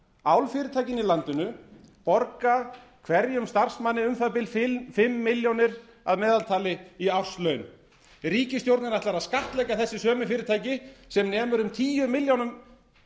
álfyrirtækin í landinu borga hverjum starfsmanni um það bil fimm milljónir að meðaltali í árslaun ríkisstjórnin ætlar að skattleggja þessi sömu fyrirtæki sem nemur um um tíu milljónum